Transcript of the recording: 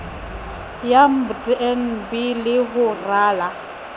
ya mdnb le ho rala